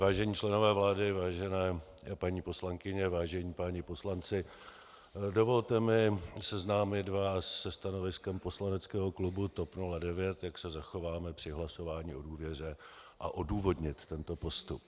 Vážení členové vlády, vážené paní poslankyně, vážení páni poslanci, dovolte mi seznámit vás se stanoviskem poslaneckého klubu TOP 09, jak se zachováme při hlasování o důvěře, a odůvodnit tento postup.